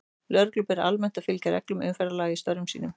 Lögreglu ber almennt að fylgja reglum umferðarlaga í störfum sínum.